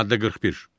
Maddə 41.